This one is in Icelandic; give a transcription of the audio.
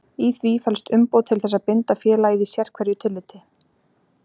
Í því felst umboð til þess að binda félagið í sérhverju tilliti.